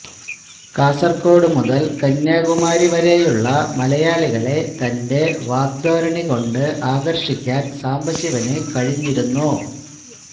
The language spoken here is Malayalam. കാസര്ഗോഡ് മുതല് കന്യാകുമാരി വരെയുള്ള മലയാളികളെ തന്റെ വാഗ്ധോരണി കൊണ്ട് ആകര്ഷിക്കാന് സാംബശിവന് കഴിഞ്ഞിരുന്നു